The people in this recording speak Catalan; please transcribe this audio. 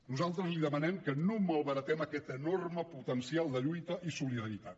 nosaltres li demanem que no malbaratem aquest enorme potencial de lluita i solidaritat